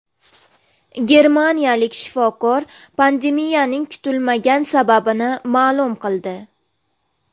Germaniyalik shifokor pandemiyaning kutilmagan sababini ma’lum qildi.